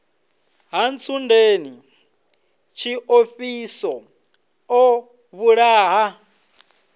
ha ntsundeni tshiofhiso o vhulaha